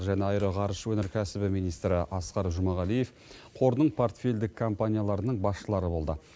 және аэроғарыш өнеркәсібі министрі асқар жұмағалиев қордың портфельдік компанияларының басшылары болды